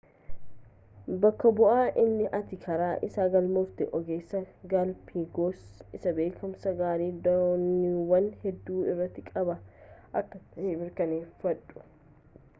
bakka bu'aa inni ati karaa isaa galmooftu ogeessa galaapaagoos isa beekumsa gaarii dooniiwwan hedduu irratti qabu akka ta'e mirkaneeffadhu